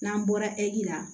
N'an bɔra la